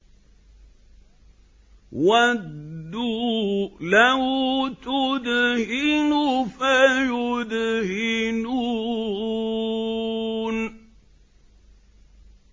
وَدُّوا لَوْ تُدْهِنُ فَيُدْهِنُونَ